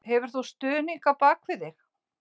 Hefur þú stuðning á bakvið þig?